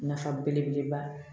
Nafa belebeleba